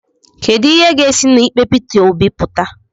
Kedu ihe ga-esi na ikpe Pita Obi pụta?